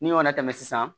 N'i y'o latɛmɛ sisan